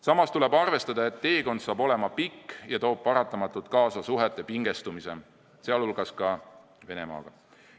Samas tuleb arvestada, et teekond saab olema pikk ja toob paratamatult kaasa suhete pingestumise, sealhulgas ka Venemaaga.